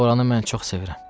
Oranı mən çox sevirəm.